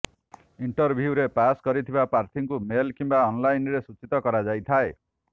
ଇଣ୍ଟରଭ୍ୟୁରେ ପାସ୍ କରିଥିବା ପ୍ରାର୍ଥୀଙ୍କୁ ମେଲ୍ କିମ୍ବା ଅନଲାଇନରେ ସୂଚିତ କରାଯାଇଥାଏ